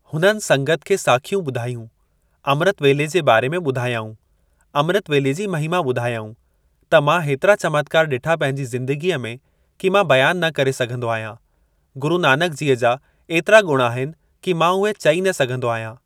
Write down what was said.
हुननि संगत खे साखियूं ॿुधायूं। अमृत वेले जे बारे में ॿुधायाऊं अमृत वेले जी महिमां ॿुधायाऊं त मां हेतिरा चमत्कार ॾिठा पहिंजी ज़िंदगीअ में कि मां बयान न करे सघंदो आहियां। गुरु नानकजीअ जा ऐतिरा ॻुण आहिनि कि मां उहे चई न सघंदो आहियां।